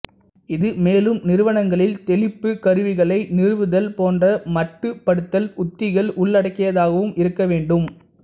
இது மேலும் நிறுவனங்களில் தெளிப்புக் கருவிகளை நிறுவுதல் போன்ற மட்டுப்படுத்தல் உத்திகள் உள்ளடக்கியதாகவும் இருக்க வேண்டும்